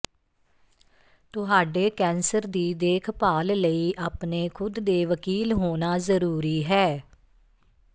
ਤੁਹਾਡੇ ਕੈਂਸਰ ਦੀ ਦੇਖਭਾਲ ਲਈ ਆਪਣੇ ਖੁਦ ਦੇ ਵਕੀਲ ਹੋਣਾ ਜ਼ਰੂਰੀ ਹੈ